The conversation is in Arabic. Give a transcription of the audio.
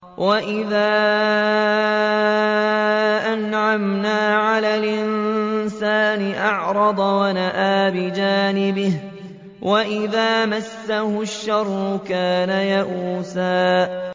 وَإِذَا أَنْعَمْنَا عَلَى الْإِنسَانِ أَعْرَضَ وَنَأَىٰ بِجَانِبِهِ ۖ وَإِذَا مَسَّهُ الشَّرُّ كَانَ يَئُوسًا